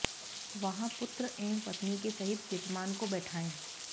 वहां पुत्र एवं पत्नी के सहित यजमान को बैठाएं